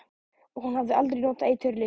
Og hún hafði aldrei notað eiturlyf.